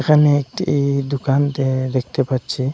এখানে একটি দুকান দে দেখতে পাচ্ছি।